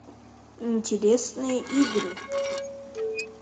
интересные игры